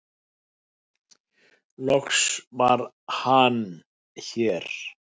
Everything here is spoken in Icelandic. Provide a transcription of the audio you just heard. loks var Hann hér